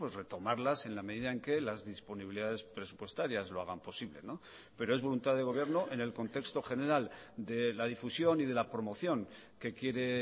retomarlas en la medida en que las disponibilidades presupuestarias lo hagan posible pero es voluntad de gobierno en el contexto general de la difusión y de la promoción que quiere